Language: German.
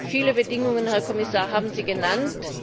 Viele Bedingungen, Herr Kommissar, haben Sie genannt.